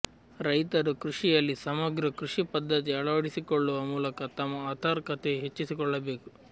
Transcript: ರೈತರು ಕೃಷಿಯಲ್ಲಿ ಸಮಗ್ರ ಕೃಷಿ ಪದ್ಧತಿ ಅಳವಡಿಸಿಕೊಳ್ಳುವ ಮೂಲಕ ತಮ್ಮ ಆಥರ್ಿಕತೆ ಹೆಚ್ಚಿಸಿಕೊಳ್ಳ ಬೇಕು